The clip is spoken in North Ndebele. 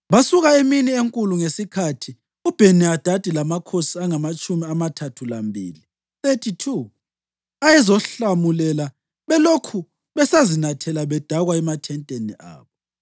Basuka emini enkulu ngesikhathi uBheni-Hadadi lamakhosi angamatshumi amathathu lambili (32) ayezomhlomulela belokhu besazinathela bedakwa emathenteni abo.